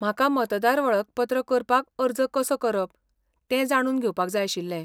म्हाका मतदार वळखपत्र करपाक अर्ज कसो करप तें जाणून घेवपाक जाय आशिल्लें.